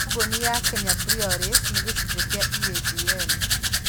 Kambuni ya Kenya Breweries nĩ gĩcunjĩ kĩa EABL.